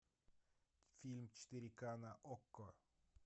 фильм четыре к на окко